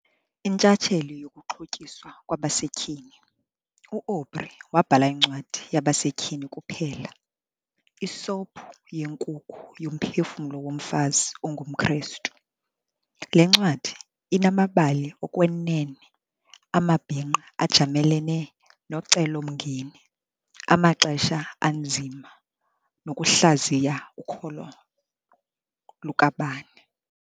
Intshatsheli yokuxhotyiswa kwabasetyhini, u-Aubrey wabhala incwadi yabasetyhini kuphela, "ISophu yenkukhu yoMphefumlo woMfazi ongumKristu.". Le ncwadi inamabali okwenene amabhinqa ajamelene nocelomngeni, amaxesha anzima nokuhlaziya ukholo lukabani.